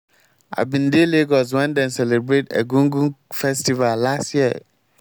i bin dey lagos wen dem celebrate egungun festival last year.